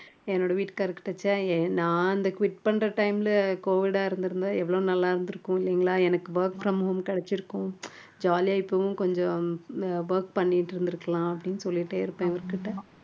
என்னோட வீட்டுக்காரர்கிட்ட ச்ச நான் அந்த quit பண்ற time ல covid ஆ இருந்திருந்தா எவ்வளவு நல்லா இருந்திருக்கும் இல்லைங்களா எனக்கு work from home கிடைச்சிருக்கும் jolly ஆ இப்பவும் கொஞ்சம் work பண்ணிட்டு இருந்திருக்கலாம் அப்படின்னு சொல்லிட்டே இருப்பேன் அவருகிட்ட